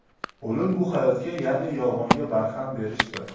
O‘lim bu hayotga, ya’ni yolg‘onga barham berishdir.